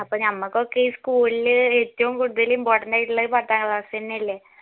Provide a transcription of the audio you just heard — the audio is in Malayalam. അപ്പോ നമ്മക്കൊക്കെ ഈ school ഇൽ ഏറ്റവും കൂടുതൽ important ആയിട്ടുള്ളത് പത്താം അന്നെ അല്ലെ